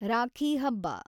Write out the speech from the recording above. ರಾಖಿ ಹಬ್ಬ